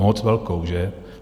Moc velkou, že?